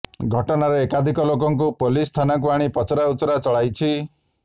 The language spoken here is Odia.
ଘଟଣାରେ ଏକାଧିକ ଲୋକଙ୍କୁ ପୋଲିସ ଥାନାକୁ ଆଣି ପଚରାଉଚରା ଚଳାଇଛି